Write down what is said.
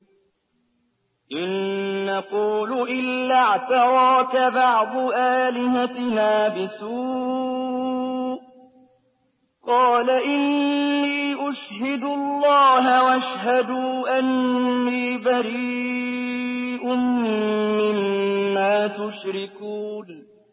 إِن نَّقُولُ إِلَّا اعْتَرَاكَ بَعْضُ آلِهَتِنَا بِسُوءٍ ۗ قَالَ إِنِّي أُشْهِدُ اللَّهَ وَاشْهَدُوا أَنِّي بَرِيءٌ مِّمَّا تُشْرِكُونَ